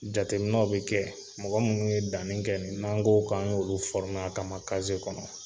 Jateminaw be kɛ. Mɔgɔ munnu ye danni kɛ nin, n'an ko k'an ɲ'olu a kama kɔnɔ.